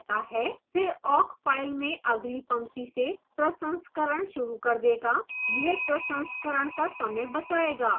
फिर awk file में अगली पंक्ति से प्रसंस्करण शुरू कर देगा यह प्रसंस्करण का समय बचाएगा